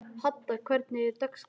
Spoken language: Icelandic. Hadda, hvernig er dagskráin?